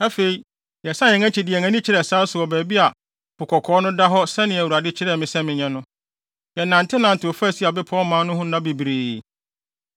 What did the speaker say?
Afei, yɛsan yɛn akyi de yɛn ani kyerɛɛ sare so wɔ baabi a Po Kɔkɔɔ no da hɔ sɛnea Awurade kyerɛɛ me sɛ menyɛ no. Yɛnantenantew faa Seir bepɔw man no ho nna bebree.